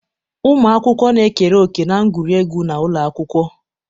Ụmụ akwụkwọ na-ekere òkè n'egwuregwu n'ụlọ akwụkwọ.